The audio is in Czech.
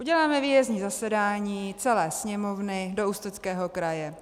Uděláme výjezdní zasedání celé Sněmovny do Ústeckého kraje.